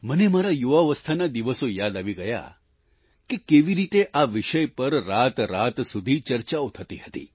મને મારા યુવાવસ્થાના દિવસો યાદ આવી ગયા કે કેવી રીતે આ વિષય પર રાતરાત સુધી ચર્ચાઓ થતી હતી